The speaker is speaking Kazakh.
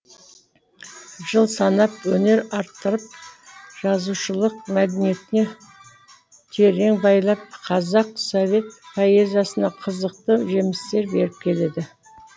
жыл санап өнер арттырып жазушылық мәдениетіне терең бойлап қазақ совет поэзиясына қызықты жемістер беріп келеді